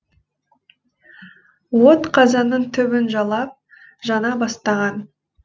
от қазанның түбін жалап жана бастаған